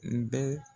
N bɛ